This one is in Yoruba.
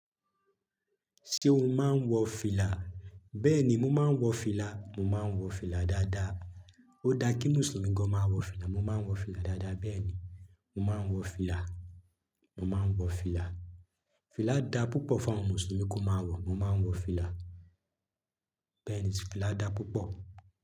Ṣé o máa ń wọ fìlà? Bẹ́ẹ̀ni mo máa ń wọ fìlà, mo máa ń wọ fìlà dáadáa. Ó dá kí Mùsùlùmí gan máa wọ fìlà, mo máa ń wọ fìlà dáadáa. Bẹ́ẹ̀ni, mo máa ń wọ fìlà, mo máa ń wọ fìlà. Fìlà dá púpọ̀ fún àwọn Mùsùlùmí kó máa wọ, mo máa ń wọ fìlà. Bẹ́ẹ̀ni, fìlà dá púpọ̀.